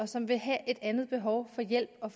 som vil have et andet behov for hjælp og